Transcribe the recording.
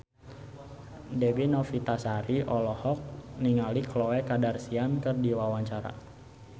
Dewi Novitasari olohok ningali Khloe Kardashian keur diwawancara